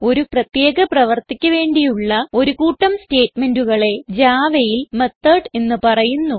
ഒരു പ്രത്യേക പ്രവർത്തിക്ക് വേണ്ടിയുള്ള ഒരു കൂട്ടം സ്റ്റേറ്റ്മെന്റുകളെ Javaയിൽ മെത്തോട് എന്ന് പറയുന്നു